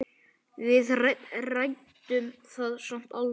Við ræddum það samt aldrei.